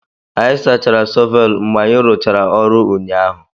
Anyị sachara shọvel mgbe anyị rụchara ọrụ ụnyaahụ